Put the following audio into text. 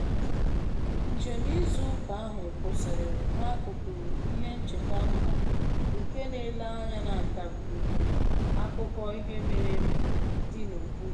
Njem izu ụka ahụ kwụsịrị n'akụkụ ihe ncheta mba nke na-ele anya na ndagwurugwu akụkọ ihe mere eme dị n'okpuru